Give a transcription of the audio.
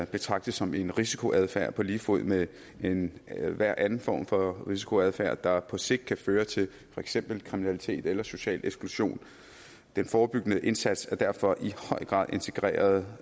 betragtet som en risikoadfærd på lige fod med med enhver anden form for risikoadfærd der på sigt kan føre til for eksempel kriminalitet eller social eksklusion den forebyggende indsats er derfor i høj grad integreret